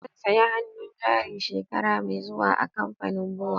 Zan saya hannun jari shekara mai zuwa a kamfanin BUA.